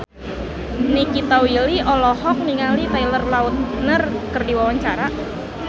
Nikita Willy olohok ningali Taylor Lautner keur diwawancara